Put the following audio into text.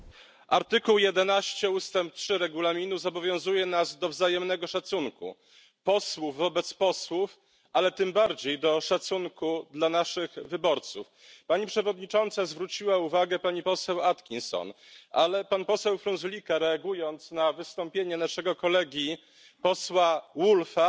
Pani Przewodnicząca! Artykuł 11 ustęp 3 Regulaminu zobowiązuje nas do wzajemnego szacunku posłów wobec posłów, ale tym bardziej do szacunku dla naszych wyborców. Pani Przewodnicząca zwróciła uwagę pani poseł Atkinson, ale pan poseł Frunzulică, reagując na wystąpienie naszego kolegi posła Woolfe'a,